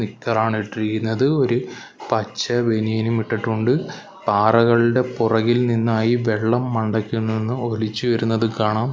നിക്കറാണ് ഇട്ടിരിക്കുന്നത് ഒരു പച്ച ബനിയനും ഇട്ടിട്ടുണ്ട് പാറകളുടെ പുറകിൽ നിന്നായി വെള്ളം മണ്ടയ്ക്ക് നിന്ന് ഒലിച്ചു വരുന്നത് കാണാം.